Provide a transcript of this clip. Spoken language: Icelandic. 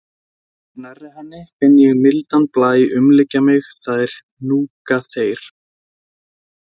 Þegar ég er nærri henni finn ég mildan blæ umlykja mig, það er hnúkaþeyr.